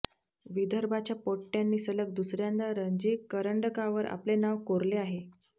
विदर्भाच्या पोट्ट्यांनी सलग दुसऱ्यांदा रणजी करंडकावर आपले नाव कोरले आहे